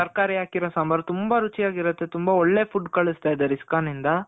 ತರಕಾರಿ ಹಾಕಿರೋ ಸಾಂಬಾರ್ ತುಂಬ ರುಚಿಯಾಗಿ ಇರುತ್ತೆ. ತುಂಬ ಒಳ್ಳೆ food ಕಳಿಸ್ತ ಇದಾರೆ ISKCON ಇಂದ